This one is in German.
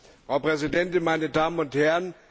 Frau Präsidentin, meine Damen und Herren!